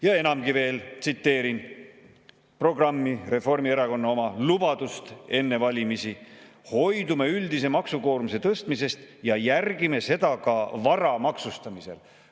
Ja enamgi veel, tsiteerin Reformierakonna programmi, lubadust enne valimisi: "Hoidume üldise maksukoormuse tõstmisest ja järgime seda ka vara maksustamisel.